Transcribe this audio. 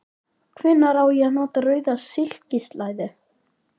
Hvenær á ég að nota rauða silkislæðu?